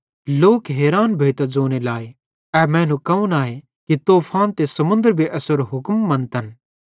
लोक हैरान भोइतां ज़ोने लग्गे ए मैनू कौन आए कि तूफान त समुन्दर भी एसेरो हुक्म मन्तन